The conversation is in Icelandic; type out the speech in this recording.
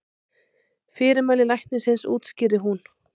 Fyrirmæli læknisins útskýrði hún.